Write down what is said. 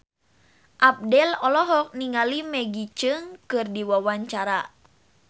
Abdel olohok ningali Maggie Cheung keur diwawancara